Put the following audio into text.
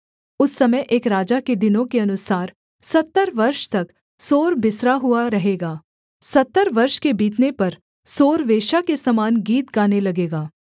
उस समय एक राजा के दिनों के अनुसार सत्तर वर्ष तक सोर बिसरा हुआ रहेगा सत्तर वर्ष के बीतने पर सोर वेश्या के समान गीत गाने लगेगा